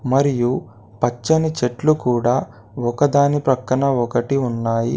మరియు పచ్చని చెట్లు కూడా ఒకదాని ప్రక్కన ఒకటి ఉన్నాయి.